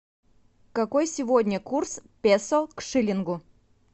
какой сегодня курс песо к шиллингу